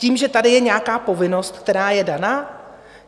Tím, že tady je nějaká povinnost, která je daná?